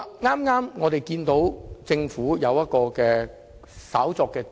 我們注意到，政府剛建議對議程稍作調動。